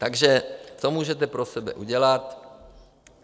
Takže co můžete pro sebe udělat?